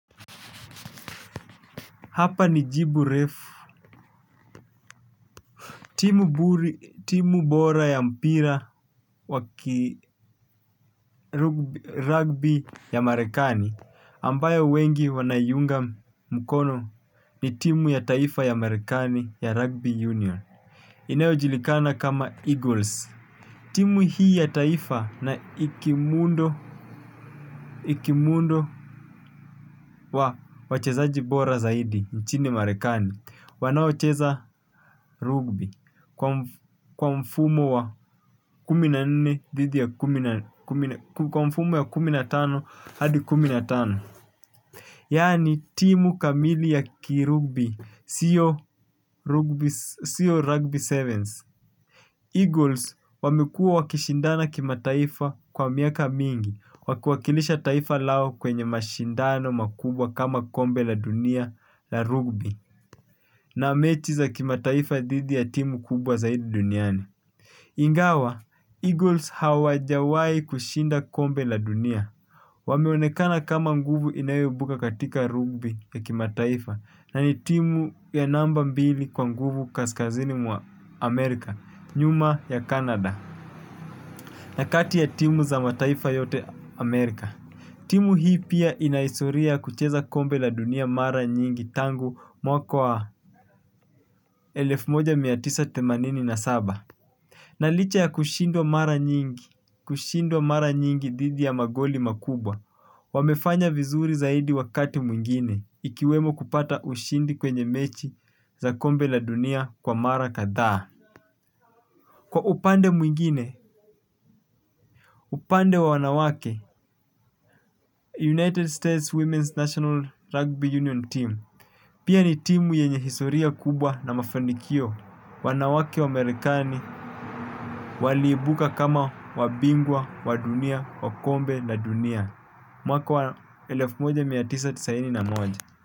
Hapa ni Jibu Refu timu buri, timu bora ya mpira waki rugby ya marekani ambayo wengi wanaiunga mkono ni timu ya taifa ya marekani ya rugby union inayojulikana kama Eagles. Timu hii ya taifa na ikimundo, ikimundo wa wachezaji bora zaidi nchini marekani. Wanaocheza rugby kwa mfumo ya kuminatano hadi kumi natano. Yaani timu kamili ya kirugbi sio siyo rugby sevens Eagles wamekua wakishindana kima taifa kwa miaka mingi wakiwakilisha taifa lao kwenye mashindano makubwa kama kombe la dunia la rugby. Na mechi za kimataifa dhidi ya timu kubwa zaidi duniani. Ingawa, Eagles hawajawahi kushinda kombe la dunia. Wameonekana kama nguvu inayoibuka katika rugby ya kimataifa na ni timu ya namba mbili kwa mguvu kaskazini mwa Amerika, nyuma ya Kanada. Na kati ya timu za mataifa yote Amerika. Timu hii pia inahistoria kucheza kombe la dunia mara nyingi tangu mwaka wa. Elfu moja mia tisa themanini na saba. Na licha ya kushindwa mara nyingi kushindwa mara nyingi dhidi ya magoli makubwa wamefanya vizuri zaidi wakati mwingine ikiwemo kupata ushindi kwenye mechi za kombe la dunia kwa mara kadhaa. Kwa upande mwingine upande wa wanawake United States Women's National Rugby Union Team. Pia ni timu yenye hisoria kubwa na mafanikio. Wanawake wamarekani waliibuka kama wabingwa, wadunia, wakombe la dunia. Mwaka wa elefu moja mia tisa tisaini na moja.